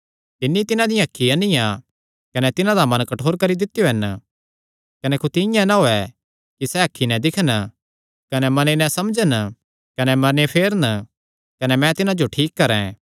तिन्नी तिन्हां दियां अखीं अन्नियां कने तिन्हां दा मन कठोर करी दित्यो हन कुत्थी इआं नीं होयैं कि सैह़ अखीं नैं दिक्खन कने मने नैं समझन कने फिरन कने मैं तिन्हां जो ठीक करैं